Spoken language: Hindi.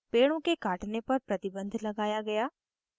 पेड़ों के काटने पर प्रतिबन्ध लगाया गया